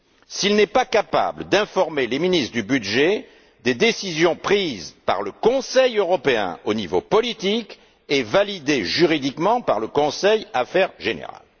s'il n'est pas capable d'informer les ministres du budget des décisions prises par le Conseil européen, au niveau politique, et validées juridiquement par le conseil affaires générales?